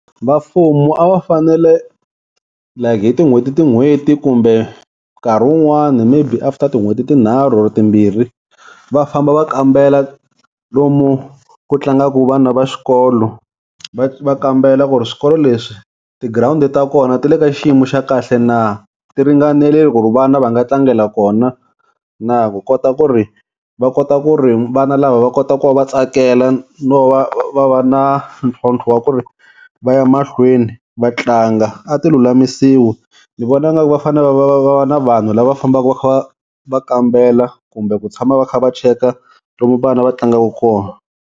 Va mfumo a va fanele like hi tin'hweti tin'hweti kumbe nkarhi wun'wani maybe after tin'hweti tinharhu or timbirhi va famba va kambela lomu ku tlangaku vana va xikolo. Va va kambela ku ri swikolo leswi tigirawundi ta kona ti le ka xiyimo xa kahle na, ti ringanerile ku ri vana va nga tlangela kona na ku kota ku ri va kota ku ri vana lava va kota ku va va tsakela no va va va na ntlhontlho wa ku ri va ya mahlweni va tlanga a ti lulamisiwi. Ni vona ngaku va fane va va va va va na vanhu lava va fambaka va kha va va kambela kumbe ku tshama va kha va cheka lomu vana va tlangaka kona.